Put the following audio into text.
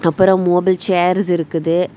அப்புறம் மூணு செயிர்ஸ் இருக்குது.